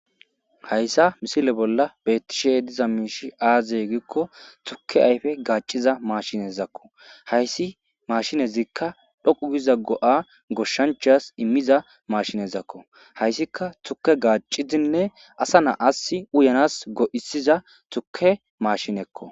Hayssa misile bolla betishe diza miishi aazey gikko tuke ayfe gaaciza maashinezakko hayssi mashinezikka dhoqu giza go'a goshshanchas immiza mashinezakko hayssika tuke gaacidinne asa na'as uyanas go'isiza tuke mashinekko.